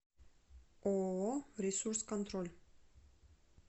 ооо ресурс контроль